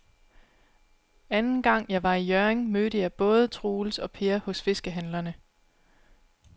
Anden gang jeg var i Hjørring, mødte jeg både Troels og Per hos fiskehandlerne.